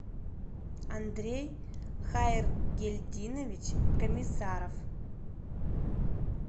андрей хайргельдинович комиссаров